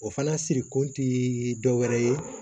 O fana sirikun ti dɔwɛrɛ ye